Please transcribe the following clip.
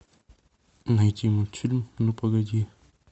найти мультфильм ну погоди